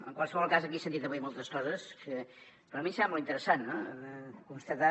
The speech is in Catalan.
en qualsevol cas aquí s’han dit avui moltes coses però a mi em sembla interessant constatar